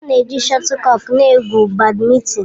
A na-eji shọtulkọk na-egwu Bádmintịn.